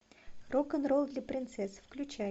рок н ролл для принцесс включай